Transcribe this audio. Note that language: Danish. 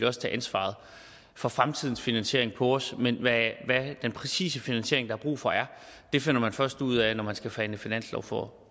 også tage ansvaret for fremtidens finansiering på os men hvad den præcise finansiering der er brug for er finder man først ud af når man skal forhandle finanslov for